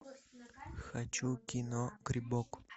хочу кино грибок